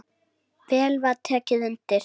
Vel var tekið undir.